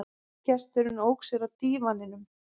Gesturinn ók sér á dívaninum.